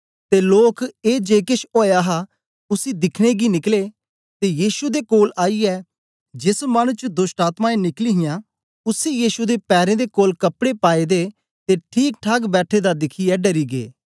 ते लोक ए जे केश ओया हा उसी दिखने गी निकले ते यीशु दे कोल आईयै जेस मानु च दोष्टआत्मायें निकली हियां उसी यीशु दे पैरें दे कोल कपड़े पाएदे द ते ठीकठाक बैठे दा दिखियै डरी गै